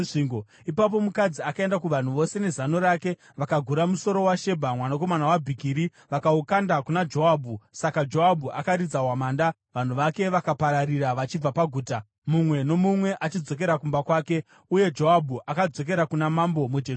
Ipapo mukadzi akaenda kuvanhu vose nezano rake, vakagura musoro waShebha mwanakomana waBhikiri vakaukanda kuna Joabhu. Saka Joabhu akaridza hwamanda, vanhu vake vakapararira vachibva paguta, mumwe nomumwe achidzokera kumba kwake. Uye Joabhu akadzokera kuna mambo muJerusarema.